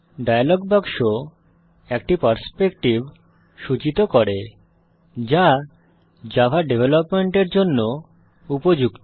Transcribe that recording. dialogue বাক্স একটি perspective সূচিত করে যা জাভা ডেভেলপমেন্টের জন্য উপযুক্ত